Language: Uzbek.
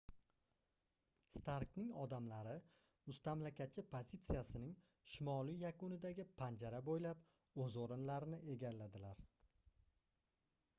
starkning odamlari mustamlakachi pozitsiyasining shimoliy yakunidagi panjara boʻylab oʻz oʻrinlarini egalladilar